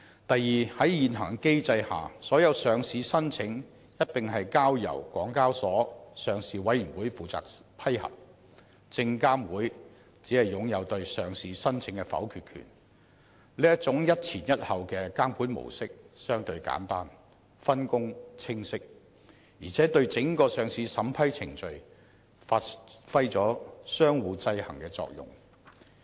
第二，在現行機制下，所有上市申請一併交由港交所的上市委員會負責批核，證監會只擁有對上市申請的否決權，這種"一前一後"的監管模式相對簡單，分工清晰，而且對整個上市審批程序發揮相互制衡的作用。